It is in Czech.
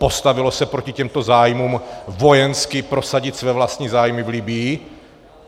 Postavilo se proti těmto zájmům, vojensky prosadit své vlastní zájmy v Libyi?